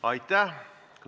Aitäh!